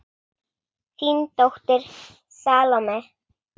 Þín dóttir, Salome.